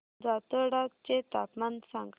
जातोडा चे तापमान सांग